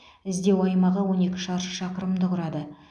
іздеу аймағы он екі шаршы шақырымды құрады